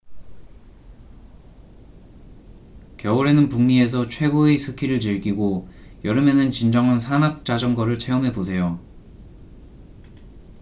겨울에는 북미에서 최고의 스키를 즐기고 여름에는 진정한 산악자전거를 체험해 보세요